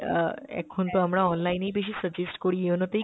এখিন তো আমরা online এই বেশি suggest করি, yono তেই